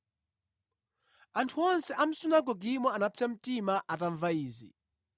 Anthu onse mʼsunagogemo anapsa mtima atamva izi.